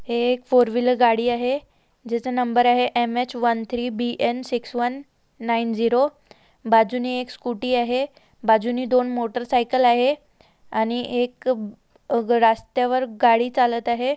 एक four wheeler गाड़ी आहे जिचा नंबर आहे M H one three B N six one nine zero बाजूने एक स्कूटी आहे बाजुने दोन मोटर सायकल आहे आणि एक रास्त्यावर गाड़ी चलत आहे.